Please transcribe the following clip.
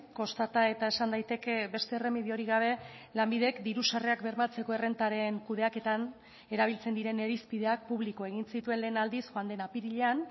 kostata eta esan daiteke beste erremediorik gabe lanbidek diru sarrerak bermatzeko errentaren kudeaketan erabiltzen diren irizpideak publiko egin zituen lehen aldiz joan den apirilean